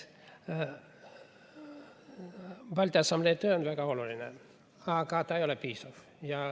Balti Assamblee töö on väga oluline, aga ta ei ole piisav.